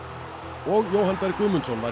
og Jóhann Berg Guðmundsson var í